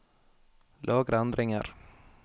Lagre endringer